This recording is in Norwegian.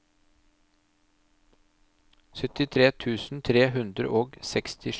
syttitre tusen tre hundre og sekstisju